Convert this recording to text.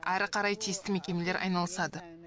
әрі қарай тиісті мекемелер айналысады